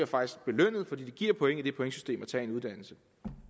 faktisk bliver belønnet for det giver point i det pointsystem at tage en uddannelse